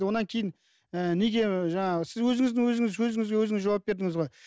одан кейін ііі неге жаңағы сіз өзіңізге өзіңіз сөзіңізге өзіңіз жауап бердіңіз ғой